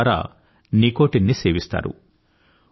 దాని ద్వారా నికోటిన్ ని సేవిస్తారు